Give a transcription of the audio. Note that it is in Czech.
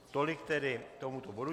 Tolik k tomuto bodu.